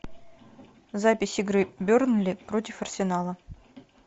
запись игры бернли против арсенала